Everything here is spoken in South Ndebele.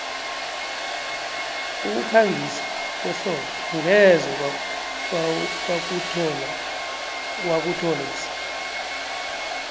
ukukhangisa kwehlobo angeze wakuthola ebusika